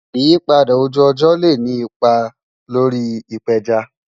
Ìyípadà ojú-ọjọ le ni ìpà lórí ìpéjá.